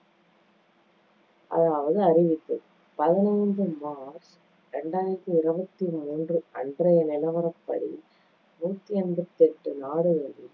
அதாவது அறிவித்தது. பதினைந்து மார்ச் இரண்டாயிரத்தி இருவத்தி மூன்று அன்றைய நிலவரப்படி, நூத்தி எம்பத்தி எட்டு நாடுகளில்